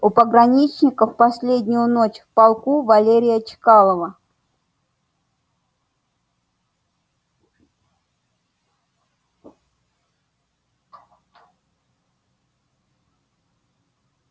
у пограничников последнюю ночь в полку валерия чкалова